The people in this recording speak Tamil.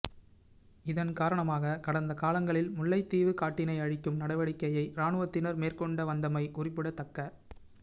இதன் காரணமாக கடந்த காலங்களில் முல்லைத்தீவு காட்டினை அழிக்கும் நடவடிக்கையை இராணுவத்தினர் மேற்கொண்டு வந்தமை குறிப்பிடத்தக்க